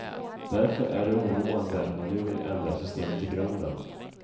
Därför är det oroande att man nu vill ändra systemet i grunden.